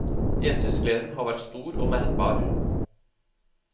Gjensynsgleden har vært stor og merkbar.